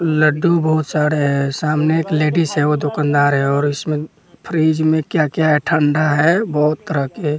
लड्डू बहुत सारे हैं सामने एक लेडीज है वो दुकानदार है और इसमें फ्रिज में क्या-क्या है ठंडा है बहुत तरह के --